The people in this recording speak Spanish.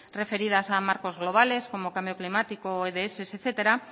referidas a marcos globales como cambio climático etcétera